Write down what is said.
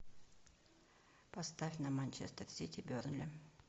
поставь нам манчестер сити бернли